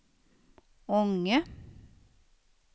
Ånge